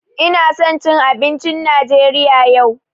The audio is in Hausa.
Ina son jcn abincin Najeriya yau.